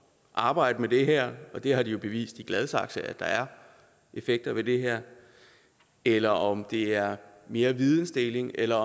arbejde med det her og de har jo bevist i gladsaxe at der er effekter ved det eller om det er mere videndeling eller